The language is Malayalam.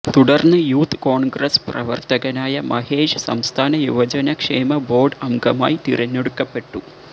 തുടർന്ന് യൂത്ത് കോൺഗ്രസ്സ് പ്രവർത്തകനായ മഹേഷ് സംസ്ഥാന യുവജനക്ഷേമ ബോർഡ് അംഗമായി തിരഞ്ഞെടുക്കപ്പെട്ടു